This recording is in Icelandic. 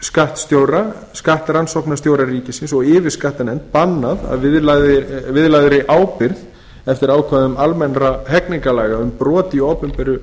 ríkisskattstjóra skattrannsóknarstjóra ríkisins og yfirskattanefnd bannað að viðlagðri ábyrgð eftir ákvæðum almennra hegningarlaga um brot í opinberu